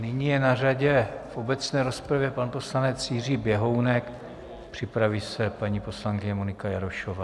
Nyní je na řadě v obecné rozpravě pan poslanec Jiří Běhounek, připraví se paní poslankyně Monika Jarošová.